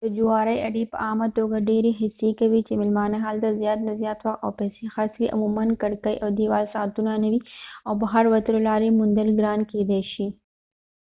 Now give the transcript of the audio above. د جوارۍ اډې په عامه توګه ډېرې هڅې کوي چې مېلمانه هلته زیات نه زیات وخت او پېسې خرڅ کړي عموماً کړکۍ او دیوال ساعتونه نه وي او بهر وتلو لارې موندل ګران کېدې شي